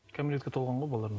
кәмелетке толған ғой балалар да